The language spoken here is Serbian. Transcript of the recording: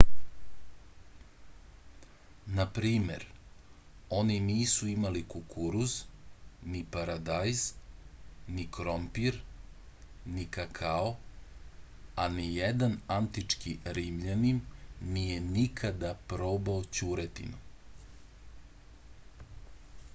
na primer oni nisu imali kukuruz ni paradajz ni krompir ni kakao a nijedan antički rimljanin nije nikada probao ćuretinu